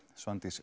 Svandís